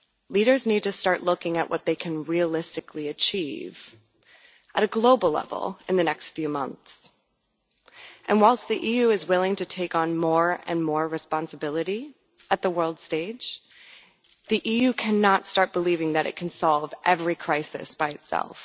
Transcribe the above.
Leaders need to start looking at what they can realistically achieve at a global level in the next few months, and whilst the EU is willing to take on more and more responsibility on the world stage, the EU cannot start believing that it can solve every crisis by itself.